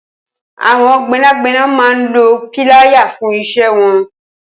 Awọn gbẹnágbẹná mà n ló pìláyá fùn iṣẹ̀ wọn